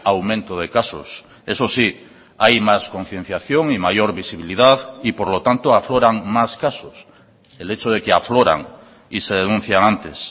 aumento de casos eso sí hay más concienciación y mayor visibilidad y por lo tanto afloran más casos el hecho de que afloran y se denuncian antes